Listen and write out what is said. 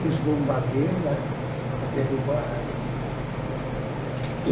E os bombardeios lá, para derrubar ele.